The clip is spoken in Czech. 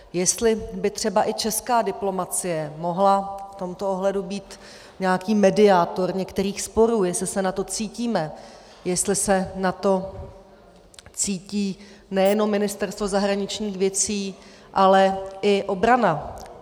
Jestli by třeba i česká diplomacie mohla v tomto ohledu být nějaký mediátor některých sporů, jestli se na to cítíme, jestli se na to cítí nejenom Ministerstvo zahraničních věcí, ale i obrana.